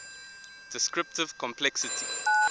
descriptive complexity